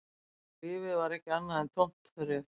Lífið var ekki annað en tómt þref